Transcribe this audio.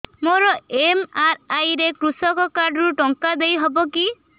ମୋର ଏମ.ଆର.ଆଇ ରେ କୃଷକ କାର୍ଡ ରୁ ଟଙ୍କା ଦେଇ ହବ କି